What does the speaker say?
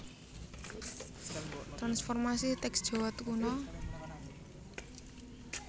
Transformasi Teks Jawa Kuna